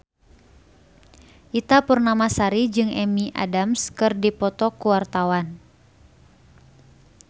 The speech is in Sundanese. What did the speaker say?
Ita Purnamasari jeung Amy Adams keur dipoto ku wartawan